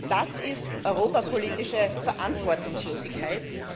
Das ist europapolitische Verantwortungslosigkeit!